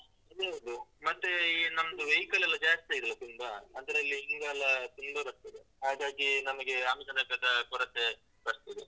ಅದು ಹೌದು, ಮತ್ತೆ ಈ ನಮ್ದು vehicle ಲೆಲ್ಲ ಜಾಸ್ತಿ ಆಗಿದ್ದಲ್ಲ ತುಂಬ, ಅದ್ರಲ್ಲಿ ಧೂಳೆಲ್ಲ ತುಂಬ ಬರ್ತದೆ ಹಾಗಾಗಿ ನಮಗೆ ಆಮ್ಲಜನಕದ ಕೊರತೆ ಬರ್ತದೆ.